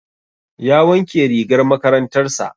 Ya wanke rigar makarantar sa